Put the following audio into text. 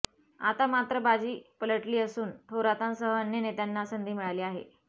आता मात्र बाजी पलटली असून थोरांतसह अन्य नेत्यांना संधी मिळाली आहे